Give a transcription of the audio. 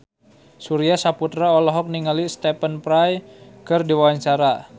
Surya Saputra olohok ningali Stephen Fry keur diwawancara